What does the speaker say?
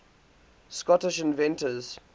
scottish inventors